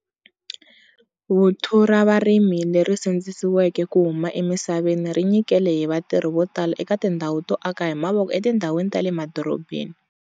Vuthu ra varimi leri sindzisiweke ku huma emisaveni ri nyikele hi vatirhi vo tala eka tindhawu to aka hi mavoko etindhawini ta le madorobeni.